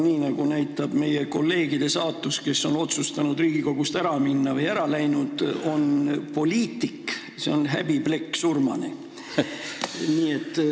Nii nagu näitab nende meie kolleegide saatus, kes on Riigikogust ära läinud: poliitik, see on häbiplekk surmani.